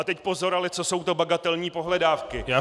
A teď pozor ale, co jsou to bagatelní pohledávky.